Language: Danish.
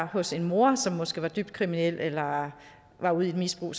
hos en mor som måske var dybt kriminel eller var ude i et misbrug